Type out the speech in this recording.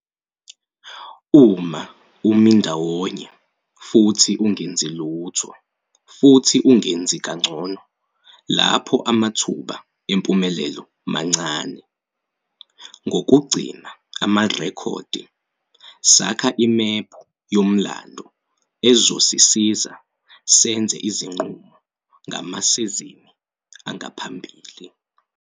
Uma umi ndawonye futhi ungenzi lutho futhi ungenzi kangcono lapho amathuba empumelelo mancane. Ngokugcina amarekhodi, sakha imephu yomlando ezosisiza senze ezinqumo ngamasizini angaphambili.